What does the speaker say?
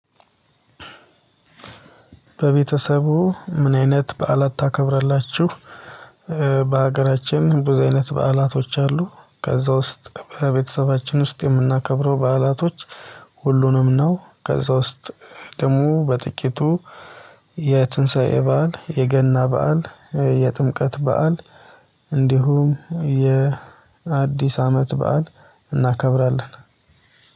በቤተሰቡ ምን አይነት በዓላት ታከብራላችሁ? በሀገራችን ብዙ አይነት በዓላቶች አሉ። ከዛ ውስጥ በቤተሰባችን ውስጥ የምናከብረው በዓላቶች ሁሉንም ነው። ከዛ ውስጥ ደግሞ በጥቂቱ የትንሳኤ በዓል የገና በዓል የጥምቀት በዓል እንዲሁም የአዲስ አመት በዓል። እናከብራለን